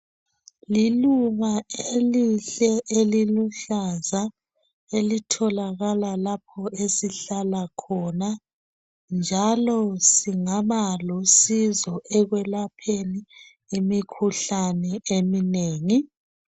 liluba elihle eliluhlaza elitholakala lapho esihlala khona njalo singaba lusizo ekwelapheni imkhuhlane eminengi